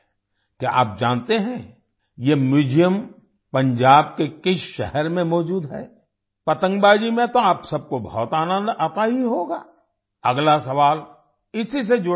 क्या आप जानते हैं ये म्यूजियम पंजाब के किस शहर में मौजूद है पतंगबाजी में तो आप सबको बहुत आनंद आता ही होगा अगला सवाल इसी से जुड़ा है